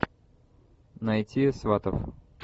найти сватов